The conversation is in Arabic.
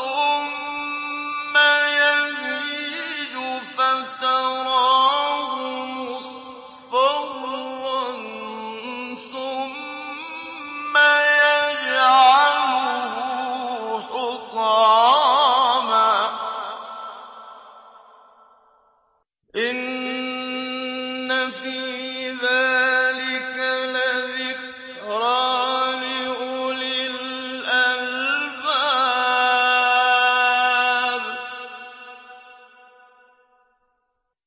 ثُمَّ يَهِيجُ فَتَرَاهُ مُصْفَرًّا ثُمَّ يَجْعَلُهُ حُطَامًا ۚ إِنَّ فِي ذَٰلِكَ لَذِكْرَىٰ لِأُولِي الْأَلْبَابِ